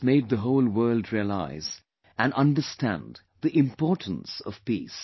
This made the whole world realize and understand the importance of peace